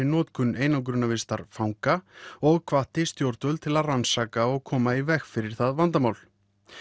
notkun einangrunarvistar fanga og hvatti stjórnvöld til að rannsaka og koma í veg fyrir það vandamál